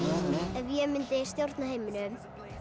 ef ég mundi stjórna heiminum